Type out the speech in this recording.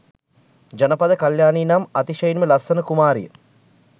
ජනපද කල්‍යාණී නම් අතිශයින්ම ලස්සන කුමාරිය